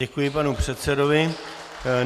Děkuji panu předsedovi.